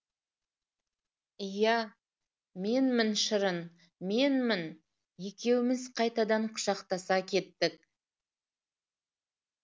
иә менмін шырын менмін екеуміз қайтадан құшақтаса кеттік